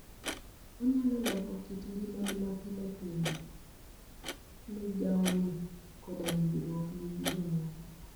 onyalo loko kit ngimani mapile pile, migawoni, koda winjruok ni gi jomoko